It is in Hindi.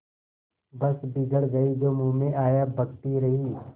बस बिगड़ गयीं जो मुँह में आया बकती रहीं